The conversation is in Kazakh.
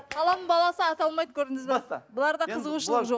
қаланың баласы ата алмайды көрдіңіз бе бұларда қызығушылық жоқ